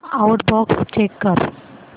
outbox check कर